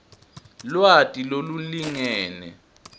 lwati lolulingene